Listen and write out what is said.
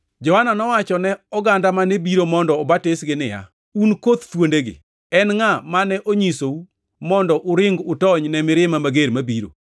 Johana nowacho ne oganda mane biro mondo obatisgi niya, “Un koth thuondegi! En ngʼa mane onyisou mondo uring utony ne mirima mager mabiro?